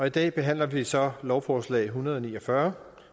i dag behandler vi så lovforslag en hundrede og ni og fyrre